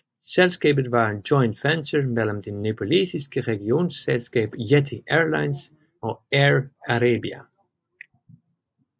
Selskabet var et joint venture mellem den nepalesiske regionalselskab Yeti Airlines og Air Arabia